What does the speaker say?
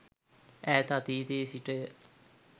ඈත අතීතයේ සිටය.